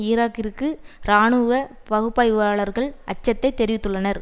ஈராக்கிற்கு இராணுவ பகுப்பாய்வாளர்கள் அச்சத்தைத் தெரிவித்துள்ளனர்